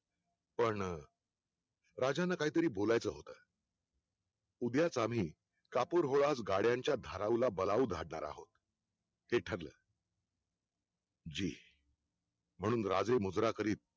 पण राजांना काहीतरी बोलायचं होतं उद्याच आम्ही कापूर गोळा गाड्यांच्या धाराऊ बलाऊ झाडणार आहोत हे ठरलं जी म्हणून राजे मुजरा करीत